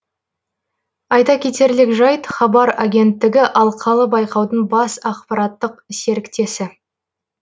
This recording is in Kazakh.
айта кетерлік жайт хабар агенттігі алқалы байқаудың бас ақпараттық серіктесі